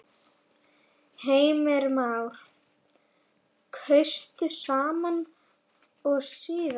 Heimir Már: Kaustu sama og síðast?